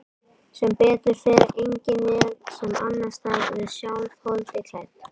Sem betur fer engin vél sem annast það, við sjálf, holdi klædd.